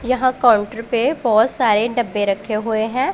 यहां काउंटर पे बहोत सारे डब्बे रखे हुए हैं।